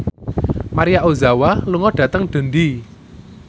Maria Ozawa lunga dhateng Dundee